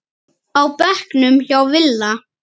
á bekknum hjá Villa.